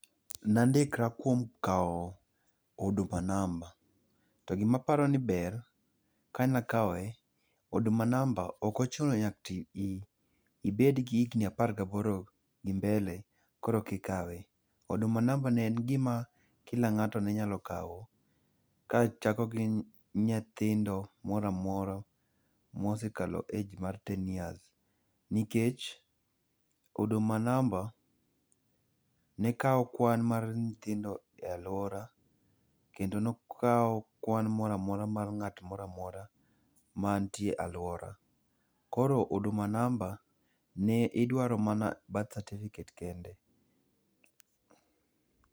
Nandikra kuom kao Huduma number, to gima aparoni ber, kane akawe, Huduma number ok ochuno nyaka ibedgi higni apar gaboro gi mbele koroki kawe, Huduma number ne en gima kila ngato ne nyalo kao, kachako gi nyithindo moro amora mosekalo age mar ten years nikech Huduma number ne kao kwan mar nyithindo e aluora kendo nokao kwan moro amora mar ngat moro amora mantie e aluora. Koro Huduma namba ne idwaro mana birth certificate kende